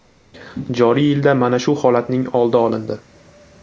Joriy yilda mana shu holatning oldi olindi.